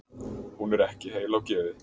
Hún er ekki heil á geði